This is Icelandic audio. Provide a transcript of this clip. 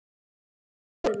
Sú minning lifir.